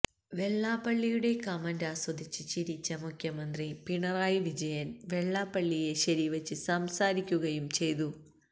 വെള്ളപ്പള്ളിയുടെ comment ആസ്വിദിച്ച് ചിരിച്ച മുഖ്യമന്ത്രി പിണറായി വിജയന് വെള്ളാപ്പള്ളിയെ ശരിവച്ച് സംസാരിക്കുകയും ചെയ്തു